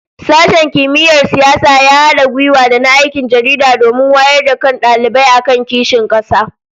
Sashen Kimiyyar Siyasa ya hada gwiwa da na Aikin Jaridah domin wayar da kan dalibai akan kishin kasa